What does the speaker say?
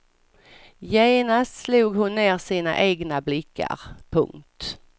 Genast slog hon ner sina egna blickar. punkt